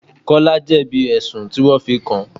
Kọ́lá jebi ẹ̀sùn tí wọn fi kàn.